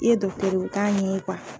I ye ye o t'a ɲɛ ye .